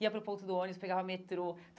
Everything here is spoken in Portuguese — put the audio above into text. Ia para o ponto do ônibus, pegava metrô.